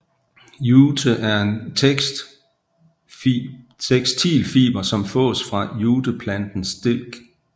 Jute er en tekstilfiber som fås fra juteplantens stilk